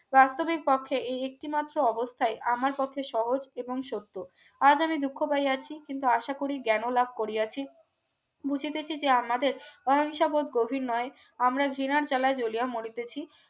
বাস্তবিক পক্ষে এই একটিমাত্র অবস্থায় আমার পক্ষে সহজ এবং সত্য আজ আমি দুঃখ পাইয়াছি কিন্তু আশা করি জ্ঞানলাভ করিয়াছি বুঝতেছি যে আমাদের অহিংসাবোধ গভীর নয় আমরা জেনার জ্বালায় জুলিয়া মরিতেছি